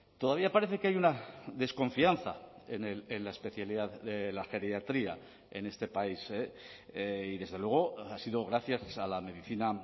todavía parece que hay una desconfianza en la especialidad de la geriatría en este país y desde luego ha sido gracias a la medicina